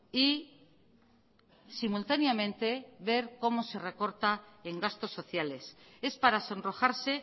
y simultáneamente ver cómo se recorta en gastos sociales es para sonrojarse